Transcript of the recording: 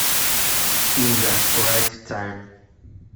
инга райт тайм